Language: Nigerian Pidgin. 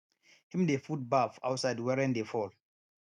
him dey put baff outside when rain dey fall